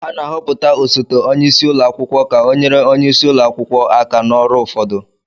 A na-ahọpụta osote onye isi ụlọ akwụkwọ ka ọ nyere onye isi ụlọ akwụkwọ aka na ọrụ ụfọdụ